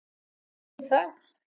Veistu af hverju það er?